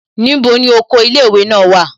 Níbo ni oko ilé ìwé náà wà?